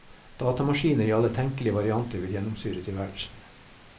Datamaskiner i alle tenkelige varianter vil gjennomsyre tilværelsen.